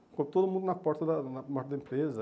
Ficou todo mundo na porta da da na porta da empresa.